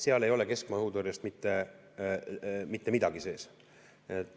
Seal ei ole keskmaa õhutõrjest mitte midagi sees.